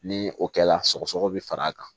Ni o kɛla sɔgɔsɔgɔ bi far'a kan